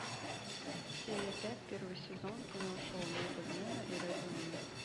серия пять первый сезон кино шоу методмена и редмена